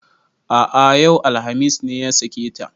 A'a yau, alhamis ne ya sake ta